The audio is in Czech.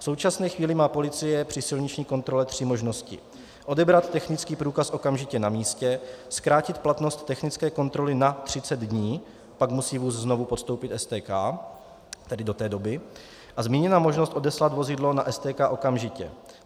V současné chvíli má policie při silniční kontrole tři možnosti: odebrat technický průkaz okamžitě na místě, zkrátit platnost technické kontroly na 30 dnů, pak musí vůz znovu podstoupit STK, tedy do té doby, a zmíněná možnost odeslat vozidlo na STK okamžitě.